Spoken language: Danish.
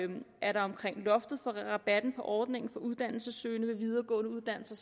loftet for rabatten på ordningen for uddannelsessøgende ved videregående uddannelser